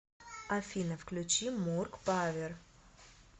афина включи мурк павер